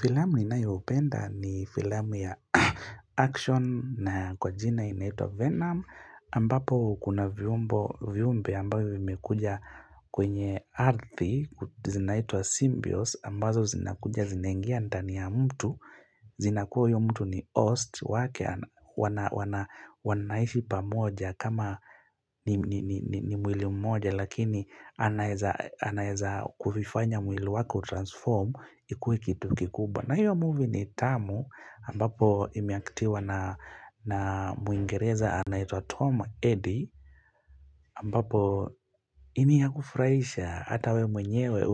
Filamu ninayopenda ni filamu ya action na kwa jina inaitwa venom ambapo kuna viumbe ambayo vimekuja kwenye arthi zinaitwa symbios ambazo zinakuja zinangia ndani ya mtu zinakuwa huyu mtu ni host wake wanaishi pamoja kama ni mwili mmoja Lakini anaeza kulifanya mwili wako transform ikuwe kitu kikubwa na hiyo movie ni tamu ambapo imiaktiwa na muingereza anaitwa Tom Eddy ambapo ni ya kufrahisha hata we mwenyewe